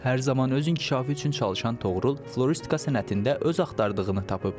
Hər zaman öz inkişafı üçün çalışan Toğrul, floristika sənətində öz axtardığını tapıb.